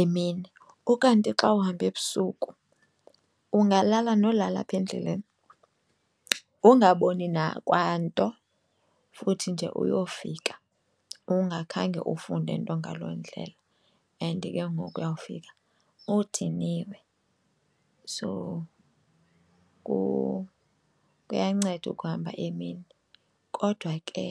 emini. Ukanti xa uhamba ebusuku ungalala nolala apha endleleni ungaboni kwanto futhi nje uyofika ungakhange ufunde nto ngaloo ndlela and ke ngoku uyawufika udiniwe. So kuyanceda ukuhamba emini kodwa ke.